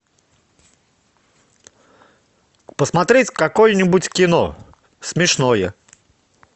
посмотреть какое нибудь кино смешное